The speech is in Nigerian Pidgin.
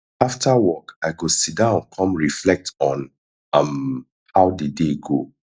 after work i go sit down come reflect on um how the day go